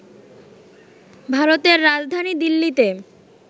ভারতের রাজধানী দিল্লিতে